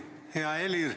Hea Martin!